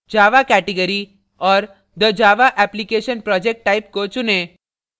java category और the java application project type को चुनें